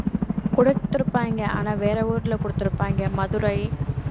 குடுத்துருப்பாங்க ஆனா வேற ஊர்ல குடுத்திருப்பாங்க மதுரை